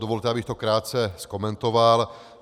Dovolte, abych to krátce okomentoval.